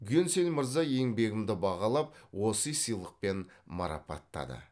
гюнсель мырза еңбегімді бағалап осы сыйлықпен марапаттады